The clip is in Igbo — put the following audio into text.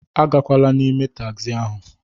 Agakwala n'ime tagzi ahụ